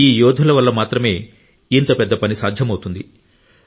ఈ యోధుల వల్ల మాత్రమే ఈ భారీ పని సాధ్యమవుతుంది